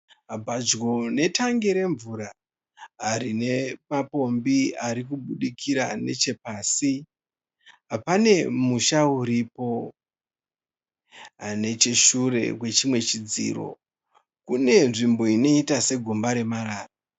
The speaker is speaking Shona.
Pedyo netangi remvura rinemapombi arikubudikira nechepasi, pane musha uripo. Necheshure kwechimwe chidziro, kune nzvimbo inoita segomba remarara.